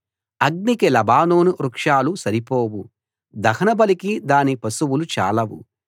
అగ్నికి లెబానోను వృక్షాలు సరిపోవు దహనబలికి దాని పశువులు చాలవు